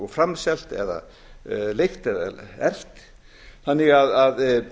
framselt eða leigt eða erfitt þannig að